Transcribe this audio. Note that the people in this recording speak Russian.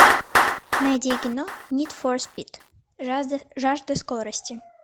найди кино нид фор спид жажда скорости